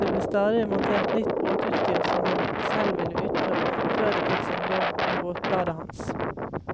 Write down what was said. Det ble stadig montert nytt båtutstyr som han selv ville utprøve før det fikk sin dom i båtbladet hans.